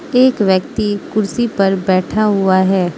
एक व्यक्ति कुर्सी पर बैठा हुआ है।